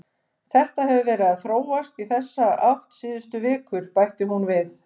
Þetta hefur verið að þróast í þessa átt síðustu vikur, bætir hún við.